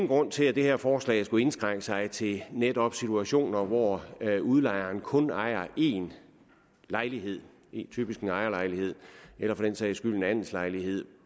grund til at det her forslag skulle indskrænke sig til netop situationer hvor udlejeren kun ejer én lejlighed typisk en ejerlejlighed eller for den sags skyld en andelslejlighed